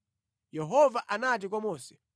Yehova anati kwa Mose,